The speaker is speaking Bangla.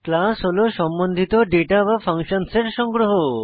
ক্লাস হল সম্বন্ধিত দাতা বা ফাংশনস এর সংগ্রহ